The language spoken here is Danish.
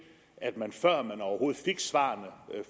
at man før man overhovedet fik svarene